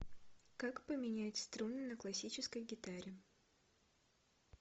как поменять струны на классической гитаре